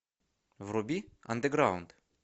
вруби андеграунд